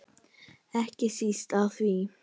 Ekki síst af því.